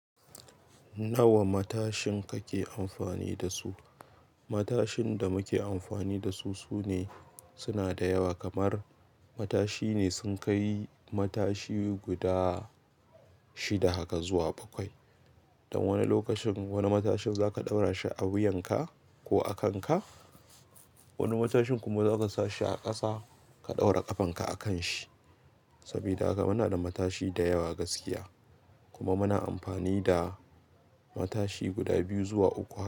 Nawa matshin kake amfani da su. Matashin da muke amfani da su su ne suna da yawa kamar matashi ne. Sun kai matashi guda shida haka zuwa bakwai. Don wani lokacin wani matashin za ka ɗaura shi a wuyan ka ko a kan ka. Wani matashin kuma zaka saka shi a ƙasa, ka ɗaura ƙafan ka a kan shi. Saboda haka muna da matashi da yawa gaskiya. Kuma muna amfani da matashi guda biyu zuwa uku.